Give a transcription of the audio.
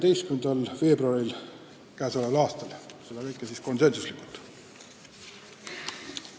Kõik otsused langetati konsensusega.